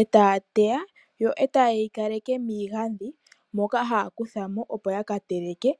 e taa, e taye yi kaleke miigandhi moka haa kutha no, opo yaka teleke.